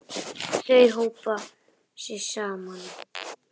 Þau hópa sig saman.